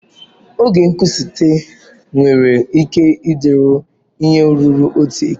Oge nkwụsịtụ nwere ike ịdịru ihe ruru otu elekere.